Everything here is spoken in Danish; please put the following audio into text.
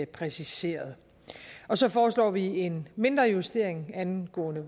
præciseret så foreslår vi en mindre justering angående